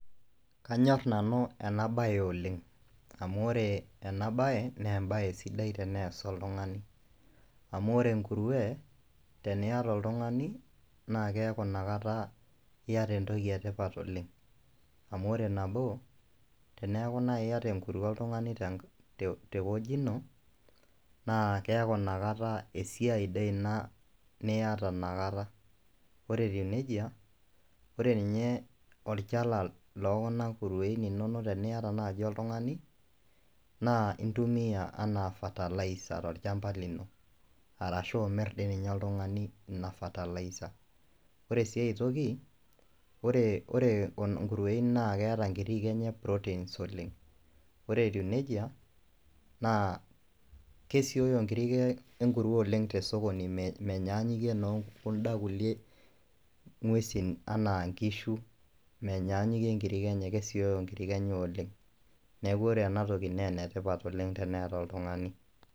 Kanyorr nanu enabaye oleng' amu ore enabaye naa embaye sidai tenees oltung'ani amu ore enkurue teniata oltung'ani naa keeku inakata iata entoki etipat oleng' amu ore nabo teneeku naai iata enkurue oltung'ani tewueji ina naa keeku inakata esiai sidai ina niata ina kata, ore etiu neija ore ninye olchala lookuna kurueni inonok teniata oltung'ani naa intumia enaa fertiliser tolchamba lino arashu amirr ninye oltung'ani ina fertiliser ore sii ai toki ore nkurueni naa keeta nkirri enye proteins oleng' , ore etiu neija kesioyo nkirri onkurueni tosokoni menyanyukie inookuda kulie nguesin enaa nkishu menyanyukie nkirri enye kesioyo nkirri enye oleng', neeku ore ena toki naa enetipata oleng' teneeta oltung'ani.